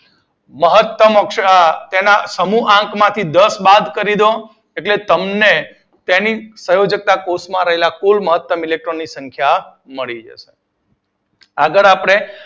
મહતમ અક્ષર તેના સમૂહ આંક માંથી દસ બાદ કરી દ્યો એટલે તમને તેના સંયોજક કોષ્ટક માં રહેલા કુલ મહતમ ઇલેક્ટ્રોન ની સંખ્યા મળી જશે. આગળ આપડે